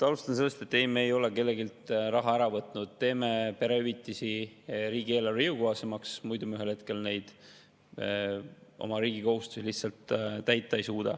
Alustan sellest, et ei, me ei ole kelleltki raha ära võtnud, me teeme perehüvitisi riigieelarvele jõukohasemaks, muidu me lihtsalt ei suuda ühel hetkel oma riigi kohustusi täita.